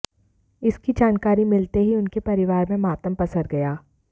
इसकी जानकारी मिलते ही उनके परिवार में मातम पसर गया